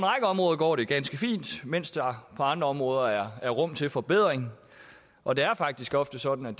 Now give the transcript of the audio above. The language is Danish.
områder går det ganske fint mens der på andre områder er rum til forbedring og det er faktisk ofte sådan at